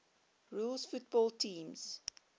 rules football teams